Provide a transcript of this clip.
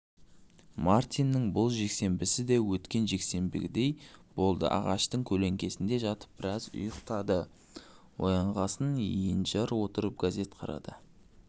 мартиннің бұл жексенбісі де өткен жексенбідегідей болды ағаштың көлеңкесіне жатып біраз ұйықтады оянғасын енжар отырып газет қарады